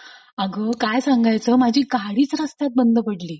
अग काय सांगायचं माझी काहीच गाडीच रस्त्यात बंद पडली.